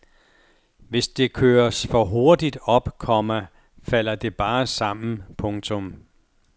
Hvis det køres for hurtigt op, komma falder det bare sammen. punktum